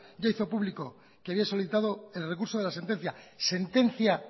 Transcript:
ya hizo público que había solicitado el recurso de la sentencia sentencia